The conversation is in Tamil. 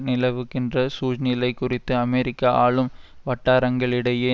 நிலவுகின்ற சூழ்நிலை குறித்து அமெரிக்க ஆளும் வட்டாரங்களிடையே